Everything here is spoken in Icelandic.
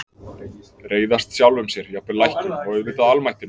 Reiðast sjálfum sér, jafnvel læknum- og auðvitað almættinu.